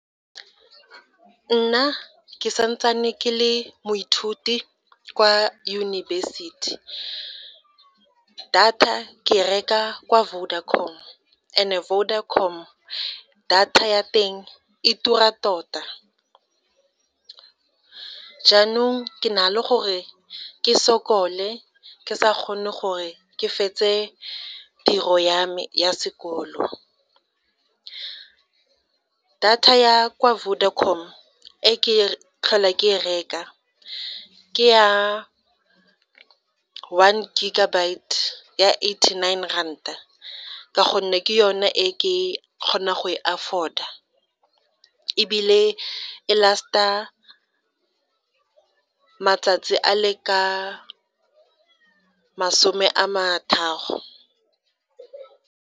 Nna ke sa ntse ke le moithuti kwa yunibesithi, data ke reka kwa Vodacom, and Vodacom data ya teng e tura tota, jaanong ke na le gore ke sokole ke sa kgone gore ke fetse tiro ya me ya sekolo. Data ya kwa Vodacom, e ke tlhola ke e reka ke ya one gigabyte ya eighty nine ranta ka gonne ke yone e ke kgona go e afford-a ebile e last-a matsatsi a le ka masome a .